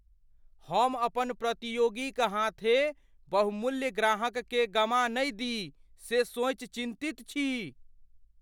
हम अपन प्रतियोगी क हाथें बहुमूल्य ग्राहककेँ गमा नहि दी से सोचि चिन्तित छी।